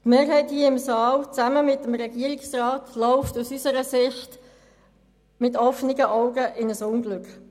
Die Mehrheit hier im Saal, gemeinsam mit dem Regierungsrat, laufen aus unserer Sicht mit offenen Augen in ein Unglück.